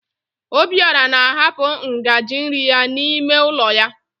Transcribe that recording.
Obiọra na ahapụ ngaji nri ya n'ime ụlọ ya.